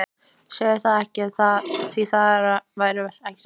Segðu það ekki, því það væri ekki satt.